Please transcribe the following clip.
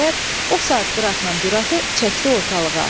Dəli Mehdir, o saat Qıratla Düratı çəkdi ortalığa.